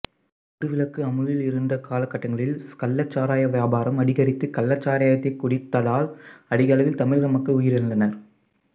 மதுவிலக்கு அமுலில் இருந்த காலகட்டங்களில் கள்ளச் சாராய வியாபாரம் அதிகரித்து கள்ளச் சாராயத்தைக் குடித்ததால் அதிகளவில் தமிழக மக்கள் உயிரிழந்தனர்